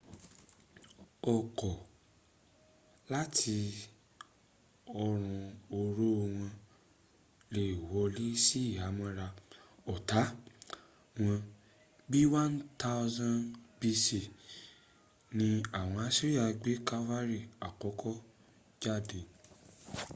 ọ̀kọ̀ láti ọrun oró wọn lè wọlé sí ìhámọ́ra ọ̀tá wọn. bíi 1000 b.c ni àwọn assyria gbé cavalry àkọ́kọ́ jáde